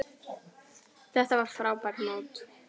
Þetta var frábært mót.